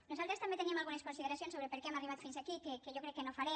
nosaltres també teníem algunes consideracions sobre per què hem arribat fins aquí que jo crec que no faré